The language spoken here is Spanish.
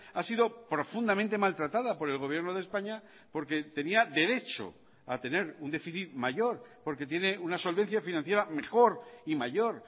ha sido profundamente maltratada por el gobierno de españa porque tenía derecho a tener un déficit mayor porque tiene una solvencia financiera mejor y mayor